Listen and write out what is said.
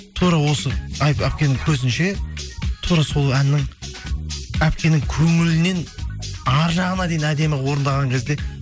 тура осы әпкенің көзінше тура сол әннің әпкенің көңілінен ар жағына дейін әдемі орындаған кезде